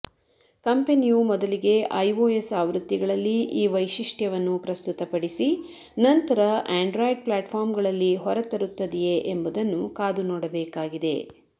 ಕಂಪೆನಿಯು ಮೊದಲಿಗೆ ಐಓಎಸ್ ಆವೃತ್ತಿಗಳಲ್ಲಿ ಈ ವೈಶಿಷ್ಟ್ಯವನ್ನು ಪ್ರಸ್ತುತಪಡಿಸಿ ನಂತರ ಆಂಡ್ರಾಯ್ಡ್ ಪ್ಲಾಟ್ಫಾರ್ಮ್ಗಳಲ್ಲಿ ಹೊರತರುತ್ತದೆಯೇ ಎಂಬುದನ್ನು ಕಾದು ನೋಡಬೇಕಾಗಿದೆ